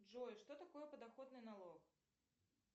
джой что такое подоходный налог